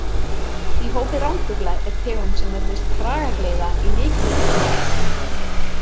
Í hópi ránfugla er tegund sem nefnist kragagleiða í mikilli útrýmingarhættu.